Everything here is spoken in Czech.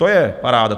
To je paráda!